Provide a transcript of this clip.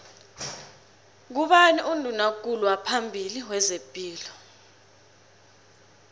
ngubani unduna kulu waphambili wezepilo